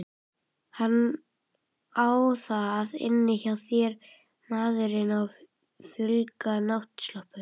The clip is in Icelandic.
Hann á það inni hjá þér maðurinn á fölgula náttsloppnum.